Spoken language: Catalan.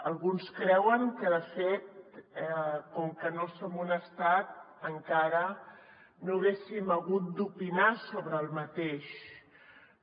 alguns creuen que de fet com que no som un estat encara no haguéssim hagut d’opinar sobre això